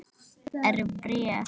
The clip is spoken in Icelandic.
Er bréf?